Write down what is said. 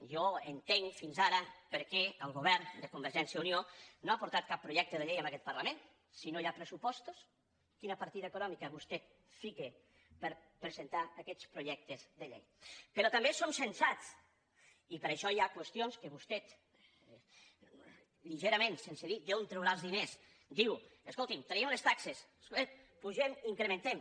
jo entenc fins ara per què el govern de convergència i unió no ha portat cap projecte de llei en aquest parlament si no hi ha pressupostos quina partida econòmica vostè fica per presentar aquests projectes de llei però també som sensats i per això hi ha qüestions que vostè lleugerament sense dir d’on traurà els diners diu escolti traiem unes taxes ep pugem incre·mentem